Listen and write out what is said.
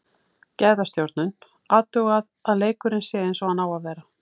Gæðastjórnun, athugað að leikurinn sé eins og hann á að vera.